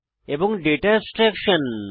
এবং data abstraction